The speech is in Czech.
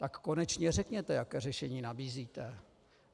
Tak konečně řekněte, jaké řešení nabízíte.